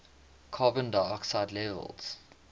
carbon dioxide levels